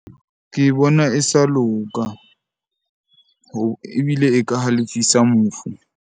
Ke bona e sa loka ho ebile e ka halefisa mofu.